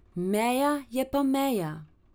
Meja je pa meja...